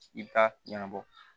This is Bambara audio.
I bɛ taa ɲɛnabɔ